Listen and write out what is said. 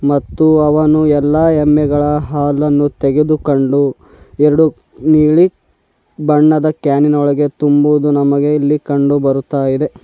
ಮತ್ತು ಅವನು ಎಲ್ಲಾ ಎಮ್ಮೆಗಳ ಹಾಲನ್ನು ತೆಗೆದುಕೊಂಡು ಎರಡು ನೀಲಿ ಬಣ್ಣದ ಕ್ಯಾನಿನೊಳಗೆ ತುಂಬುವುದು ನಮಗೆ ಇಲ್ಲಿ ಕಂಡು ಬರುತ್ತಾ ಇದೆ.